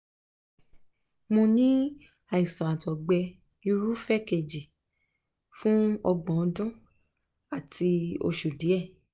um mo ní àìsàn àtọ̀gbẹ-irúfẹ́ kejì fún ọgbọ̀n um ọdún àti um oṣù díẹ̀